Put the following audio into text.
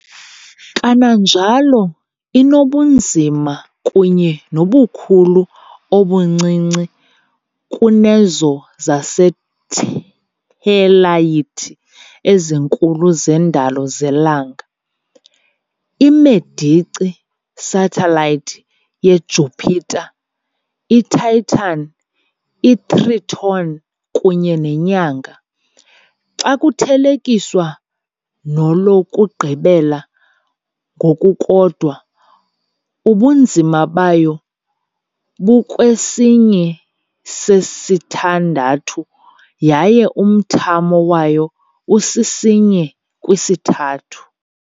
Kananjalo inobunzima kunye nobukhulu obuncinci kunezo zesathelayithi ezinkulu zendalo zelanga, i- Medici satellites yeJupiter, iTitan, iTriton kunye neNyanga. Xa kuthelekiswa nolokugqibela ngokukodwa, ubunzima bayo bukwisinye sesithandathu yaye umthamo wayo usisinye kwisithathu.